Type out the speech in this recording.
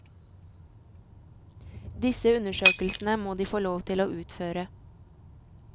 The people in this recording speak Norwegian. Disse undersøkelsene må de få lov til å utføre.